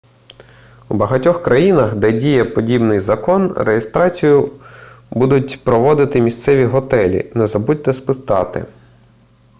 у багатьох країнах де діє подібний закон реєстрацію будуть проводити місцеві готелі не забудьте спитати